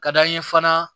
Ka d'an ye fana